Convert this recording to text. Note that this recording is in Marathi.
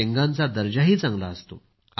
शेंगांचा दर्जाही चांगला असतो